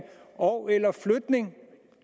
ogeller flytning